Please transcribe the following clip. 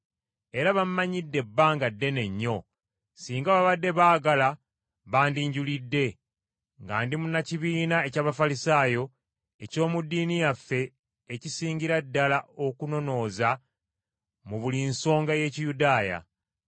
Era bammanyidde ebbanga ddene nnyo, singa babadde baagala bandinjulidde, nga ndi munnakibiina eky’Abafalisaayo, eky’omu ddiini yaffe ekisingira ddala okunonooza mu buli nsonga ey’Ekiyudaaya.